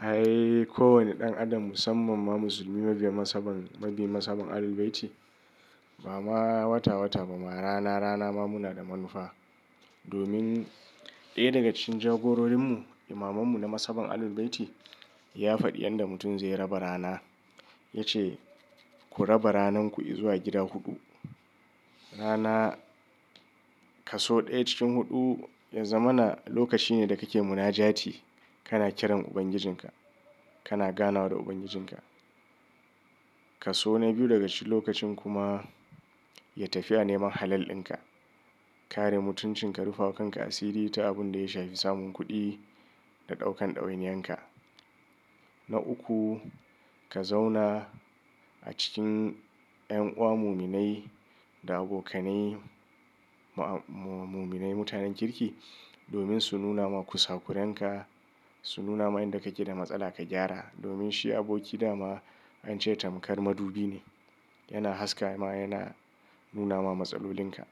Ai ko wane ɗan adam musamman ma musulmi mabiyan nasaban, mabiyan nasabab Ahlul Bayti ba ma wata wata ba ma rana rana ma muna da manufa. Domin ɗaya daga cikin jagororinmu Imamansu na mashaban Ahlul Bayti ya faɗi yanda mutum zai raba rana. Ya ce "Ku raba rananku i zuwa gida huɗu. Rana kaso ɗaya cikin huɗu, yazamana lokaci ne da kake munajati, kana kiran Ubangijinka, kana ganawa da Ubangijinka. Kaso na biyu daga cikin lokacin kuma ya tafiya neman halal ɗinka. Kare mutuncin ka, rufe kanka asiri ta abin da ya shafi samun kuɗi da ɗaukan ɗawainiyanka. Na uku ka zauna a cikin ƴan uwa, muminai da abokanai ma-muminai mutanen kirki domin su nuna ma ku sakuranka, su nuna ma inda kake da matsala ka gyara. Domin shi aboki dama an ce tamkar madubi ne, yana haskawa yana nuna ma matsalolinka.